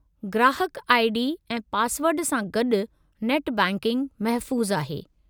ग्राहकु I. D. ऐं पासवर्डु सां गॾु नेट बैंकिंग महफ़ूज़ु आहे।